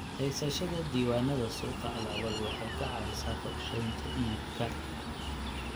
Haysashada diiwaannada suuqa alaabadu waxay ka caawisaa qorsheynta iibka.